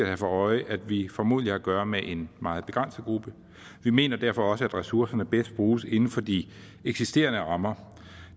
have for øje at vi formodentlig har at gøre med en meget begrænset gruppe vi mener derfor også at ressourcerne bedst bruges inden for de eksisterende rammer